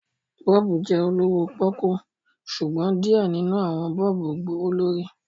bọ́ọ̀bù jẹ olowo poku, ṣugbọn diẹ ninu awọn bọ́ọ̀bùjẹ gbowolori